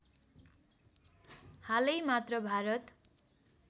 हालै मात्र भारत